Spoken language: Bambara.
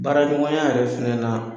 Baaraɲɔgɔnya yɛrɛ fɛnɛna